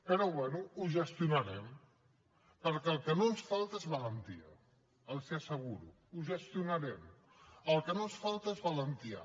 però bé ho gestionarem perquè el que no ens falta és valentia els hi ho asseguro ho gestionarem el que no ens falta és valentia